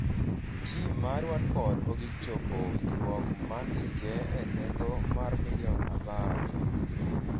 Tim mar Watford ogik chope winjruok mar ndike e nengo mar milion apar